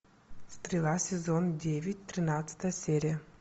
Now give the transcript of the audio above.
стрела сезон девять тринадцатая серия